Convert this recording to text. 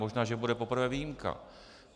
Možná že bude poprvé výjimka.